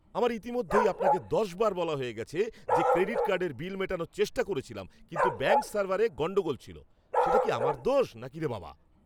আমার ইতিমধ্যেই আপনাকে দশবার বলা হয়ে গেছে যে ক্রেডিট কার্ডের বিল মেটানোর চেষ্টা করেছিলাম কিন্তু ব্যাঙ্ক সার্ভারে গণ্ডগোল ছিল। সেটা কি আমার দোষ নাকি রে বাবা!